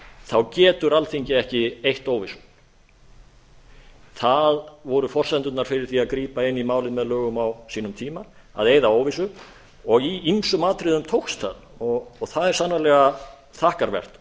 þá getur alþingi ekki eytt óvissu það voru forsendurnar fyrir því að grípa inn í málið með lögum á sínum tíma að eyða óvissu og í ýmsum atriðum tókst það og það er sannarlega þakkarvert